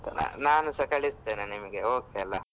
ಆಯ್ತು ನಾನುಸಾ ಕಳಿಸ್ತೇನೆ ನಿಮ್ಗೆ okay ಅಲ.